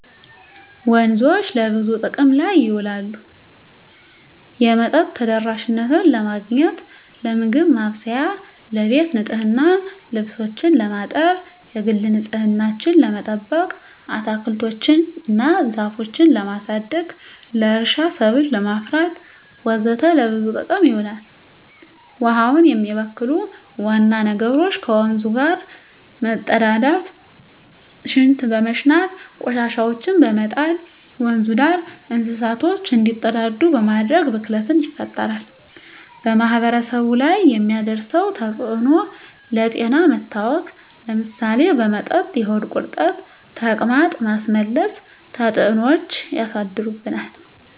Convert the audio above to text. ወንዞች ለብዙ ጥቅም ላይ ይውላሉ የመጠጥ ተደራሽነትን ለማግኘት, ለምግብ ማብሰያ , ለቤት ንፅህና , ልብሶችን ለማጠብ, የግል ንፅህናችን ለመጠበቅ, አትክልቶች እና ዛፎችን ለማሳደግ, ለእርሻ ሰብል ለማፍራት ወዘተ ለብዙ ጥቅም ይውላል። ውሀውን የሚበክሉ ዋና ነገሮች ከወንዙ ዳር መፀዳዳት , ሽንት በመሽናት, ቆሻሻዎችን በመጣል, ወንዙ ዳር እንስሳቶች እንዲፀዳዱ በማድረግ ብክለት ይፈጠራል። በማህበረሰቡ ላይ የሚያደርሰው ተፅዕኖ ለጤና መታወክ ለምሳሌ በመጠጥ የሆድ ቁርጠት , ተቅማጥ, ማስመለስ ተፅዕኖች ያሳድርብናል።